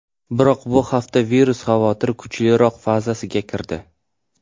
Biroq bu hafta virus xavotiri kuchliroq fazasiga kirdi .